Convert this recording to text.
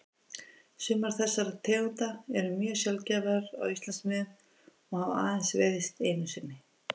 Sumar þessara tegunda eru mjög sjaldgæfar á Íslandsmiðum og hafa aðeins veiðst einu sinni.